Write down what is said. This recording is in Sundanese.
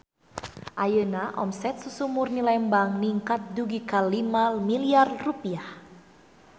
Ayeuna omset Susu Murni Lembang ningkat dugi ka 5 miliar rupiah